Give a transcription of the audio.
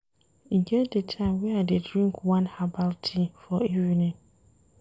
E get di time wey I dey drink one herbal tea for evening.